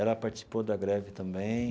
Ela participou da greve também.